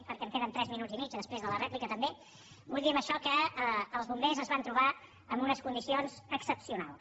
perquè em queden tres minuts i mig després de la rèplica també vull dir amb això que els bombers es van trobar amb unes condicions excepcionals